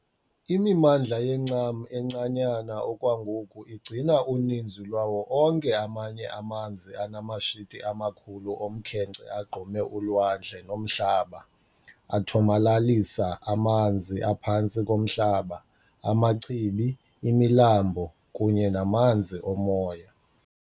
Imimandla yencam encanyana okwangoku igcina uninzi lwawo onke amanye amanzi anamashiti amakhulu omkhenkce agqume ulwandle nomhlaba, athomalalisa amanzi aphantsi komhlaba, amachibi, imilambo kunye namanzi omoya.